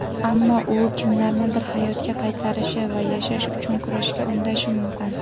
Ammo u kimlarnidir hayotga qaytarishi va yashash uchun kurashga undashi mumkin.